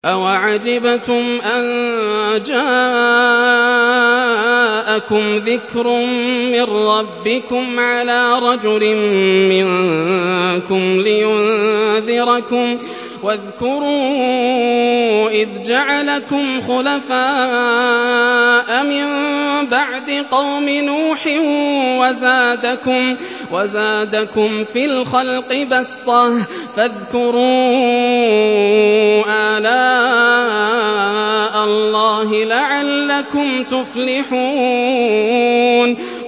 أَوَعَجِبْتُمْ أَن جَاءَكُمْ ذِكْرٌ مِّن رَّبِّكُمْ عَلَىٰ رَجُلٍ مِّنكُمْ لِيُنذِرَكُمْ ۚ وَاذْكُرُوا إِذْ جَعَلَكُمْ خُلَفَاءَ مِن بَعْدِ قَوْمِ نُوحٍ وَزَادَكُمْ فِي الْخَلْقِ بَسْطَةً ۖ فَاذْكُرُوا آلَاءَ اللَّهِ لَعَلَّكُمْ تُفْلِحُونَ